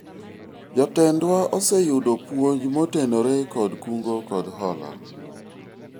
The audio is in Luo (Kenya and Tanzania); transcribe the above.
jotendwa oseyudo puonj motenore kod kungo kod hola